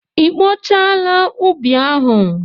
I kpochaala ubi ahụ?